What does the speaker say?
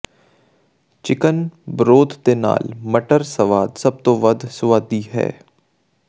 chicken broth ਦੇ ਨਾਲ ਮਟਰ ਸਵਾਦ ਸਭ ਤੋਂ ਵੱਧ ਸੁਆਦੀ ਹੈ